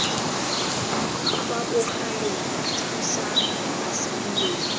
fa bogaleng thusang basadi wee